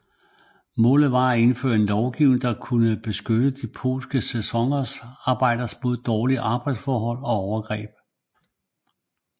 Målet var at indføre en lovgivning der kunne beskytte de polske sæsonarbejdere mod dårlige arbejdsforhold og overgreb